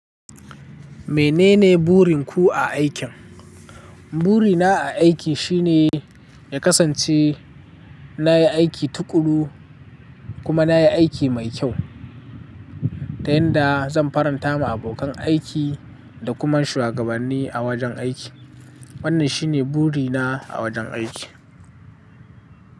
Menene burin ku a aikin? Burina a aiki shi ne, ya kasance na yi aiki tuƙuru, kuma na yi aiki mai kyau, ta yanda zan faranta ma abokan aiki, da kuma shuwagabanni a wajen aiki. Wannan shi ne burina a wajen aiki.